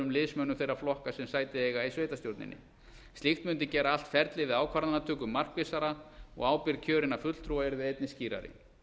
liðsmönnum þeirra flokka sem sæti eiga í sveitarstjórninni slíkt mundi gera allt ferlið við ákvarðanatöku markvissara og ábyrgð kjörinna fulltrúa yrði einnig skýrari